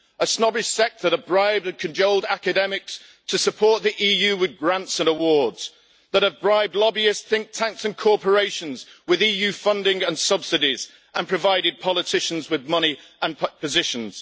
A snobbish sect that have bribed and cajoled academics to support the EU with grants and awards, that have bribed lobbyist think tanks and corporations with EU funding and subsidies and provided politicians with money and positions.